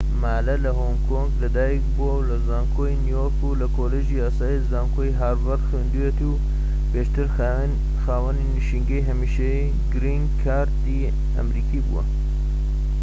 ما لە هۆنگ کۆنگ لە دایک بووە و لە زانکۆی نیویۆرك و لە کۆلیژی یاسای زانکۆی هارڤەرد خوێندوویەتی و پێشتر خاوەنی نشینگەی هەمیشەیی گرین کارد"ی ئەمەریکی بووە